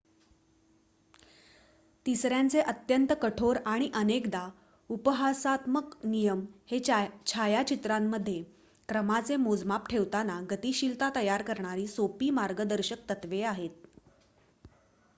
तिसऱ्यांचे अत्यंत-कठोर आणि अनेकदा-उपहासात्मक नियम हे छायाचित्रामध्ये क्रमाचे मोजमाप ठेवताना गतिशीलता तयार करणारी सोपी मार्गदर्शक तत्त्वे आहेत